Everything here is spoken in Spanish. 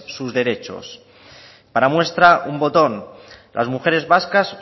sus derechos para muestra un botón las mujeres vascas